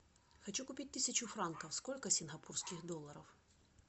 хочу купить тысячу франков сколько сингапурских долларов